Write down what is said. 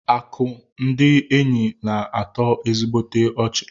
Akụ ndị enyi na-atọ ezigbote ọchị.